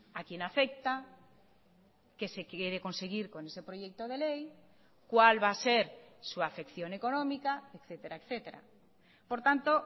a quién afecta qué se quiere conseguir con ese proyecto de ley cuál va a ser su afección económica etcétera por tanto